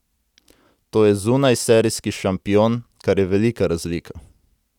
To je zunajserijski šampion, kar je velika razlika.